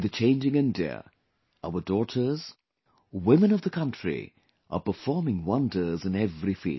In the changing India, our daughters, women of the country are performing wonders in every field